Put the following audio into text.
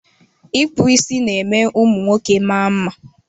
Ịkpụ isi ná-eme ụmụ nwoke maa mma.